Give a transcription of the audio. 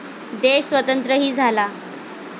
देश स्वतंत्रही झाला.